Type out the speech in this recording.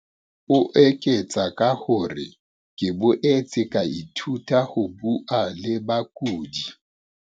O eketsa ka hore, "ke boetse ka ithuta le ho bua le bakudi."